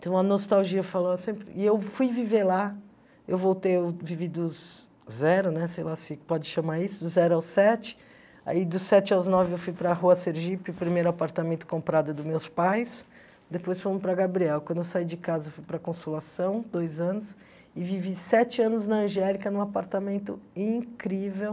Tem uma nostalgia falando assim, e eu fui viver lá, eu voltei, eu vivi dos zero, né, sei lá se pode chamar isso, dos zero aos sete, e aí dos sete aos nove eu fui para a Rua Sergipe, o primeiro apartamento comprado dos meus pais, depois fomos para Gabriel, quando eu saí de casa eu fui para a Consolação, dois anos, e vivi sete anos na Angélica, num apartamento incrível.